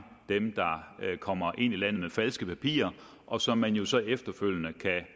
dem der kommer ind i landet med falske papirer og som man jo så efterfølgende kan